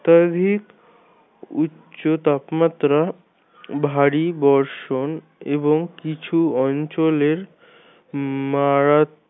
উচ্চ তাপমাত্রা ভারি বর্ষন এবং কিছু অঞ্চলের মারাত